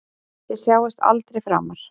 Þið sjáist aldrei framar.